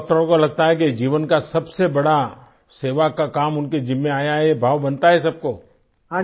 लेकिन सभी डाक्टरों को लगता है कि जीवन का सबसे बड़ा सेवा का काम उनके जिम्मे आया है ये भाव बनता है सबको